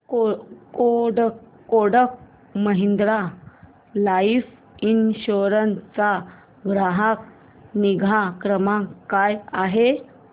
Kotak Mahindra life insurance चा ग्राहक निगा क्रमांक काय आहे